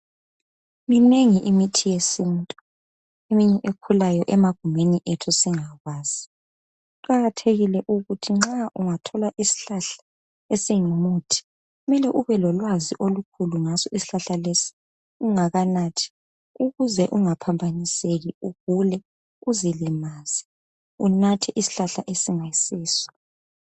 Minengi imithi yesintu , eminye ekhulayo emagumeni ethu singakwazi , kuqathekile ukuthi nxa ungathola isihlahla esingumuthi kumele ube lolwazi olukhulu ngaso isihlahla lesi ungakanathi ukuze ungaphambaniseki ugule uzilimaze unathe isihlahla esingayisiso